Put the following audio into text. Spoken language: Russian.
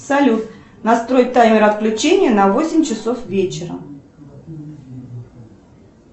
салют настрой таймер отключения на восемь часов вечера